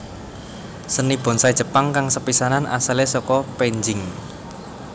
Seni bonsai Jepang kang sepisanan asalé saka penjing